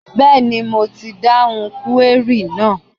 Bẹ́ẹ̀ni, mo ti dáhùn kúwérì náà.